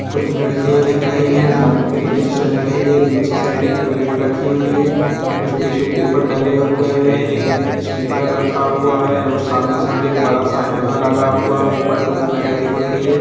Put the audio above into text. कुछ लड़किया दिख रही है डांसप्रैक्टिस चल रही है नीचे साइड एक प्लैट रखी हुई है कुछ टिश्यू पेपर डले हुए हैं एक स्पीकर रखा हुआ है और सामने साइड एक बड़ा सा आईना लगा हुआ है ऊपर ट्यूब लाइट दिख रही है।